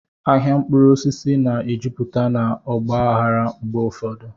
Ahịa mkpụrụ osisi na-ejupụta na ọgba aghara mgbe ụfọdụ.